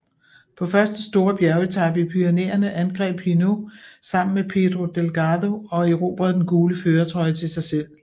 På første store bjergetape i Pyrenæerne angreb Hinault sammen med Pedro Delgado og erobrede den gule førertrøje til sig selv